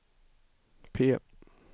P